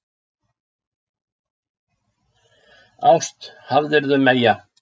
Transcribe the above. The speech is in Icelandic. Ást hafðirðu meyja.